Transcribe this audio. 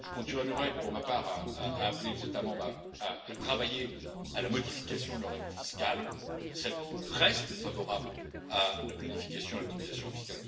Je continuerai, pour ma part, à appeler les États membres à travailler à la modification de leurs règles fiscales, celles qui restent favorables à la planification et à l'optimisation fiscale